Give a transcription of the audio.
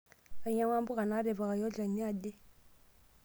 Ainyang'ua mbuka naatipikaki olchani ahe.